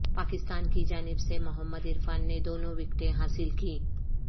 پاکستان کی جانب سے محمد عرفان نے دونوں وکٹیں حاصل کیں